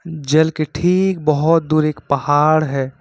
जल के ठीक बहुत दूर एक पहाड़ है।